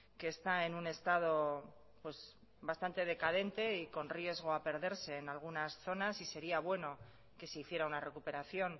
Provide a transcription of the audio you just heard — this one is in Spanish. que está en un estado bastante decadente y con riesgo a perderse en algunas zonas y sería bueno que se hiciera una recuperación